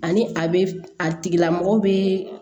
Ani a bɛ a tigilamɔgɔ bɛ